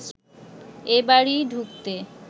এ বাড়ি ঢুকতে